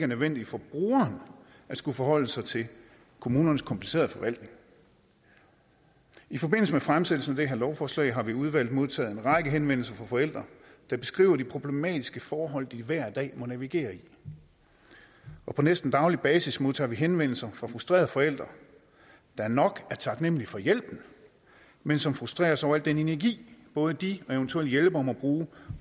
nødvendigt for brugeren at skulle forholde sig til kommunernes komplicerede forvaltninger i forbindelse med fremsættelsen af det her lovforslag har vi i udvalget modtaget en række henvendelser fra forældre der beskriver de problematiske forhold de hver dag må navigere i og på næsten daglig basis modtager vi henvendelser fra frustrerede forældre der nok er taknemmelige for hjælpen men som frustreres over al den energi både de og eventuelle hjælpere må bruge